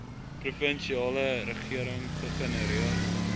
provinsiale regering gegenereer